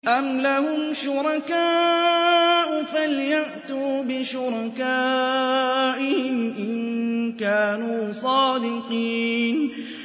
أَمْ لَهُمْ شُرَكَاءُ فَلْيَأْتُوا بِشُرَكَائِهِمْ إِن كَانُوا صَادِقِينَ